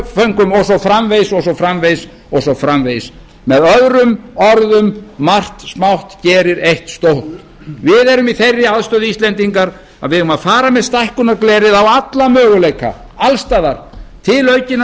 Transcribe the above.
svo framvegis og svo framvegis og svo framvegis með öðrum orðum margt smátt gerir eitt stórt við erum í þeirri aðstöðu íslendingar að við eigum að fara með stækkunarglerið á alla möguleika alls staðar til aukinnar